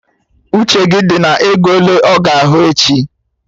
Uche gị dị na ego ele ọ ga ahụ echi!